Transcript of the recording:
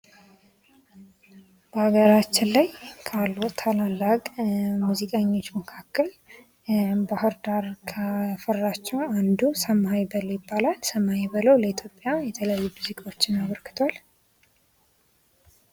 በሀገራችን ላይ ካሉ ታላላቅ ሙዚቀኞ መካከል ባህር ዳር ካፈራቸው አንዱ ሰማኸኝ በለው ይባላል። ሰማኸኝ በለው ለኢትዮጵያ የተለያዩ ሙዚቃዎችን አበርክቷል።